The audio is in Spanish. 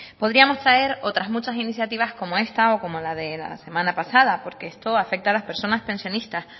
podríamos traer otras muchas iniciativas como esta o como la de la semana pasada porque esto afecta a las personas pensionistas